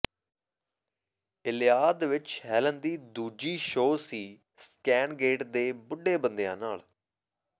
Iliad ਵਿਚ Helen ਦੀ ਦੂਜੀ ਸ਼ੋਅ ਸੀ ਸਕੈਨ ਗੇਟ ਦੇ ਬੁੱਢੇ ਬੰਦਿਆਂ ਨਾਲ